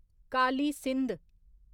Kali Sindh